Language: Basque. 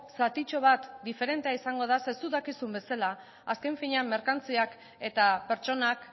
zatitxo bat diferentea izango da zeren zuk dakizun bezala azken finean merkantziak eta pertsonak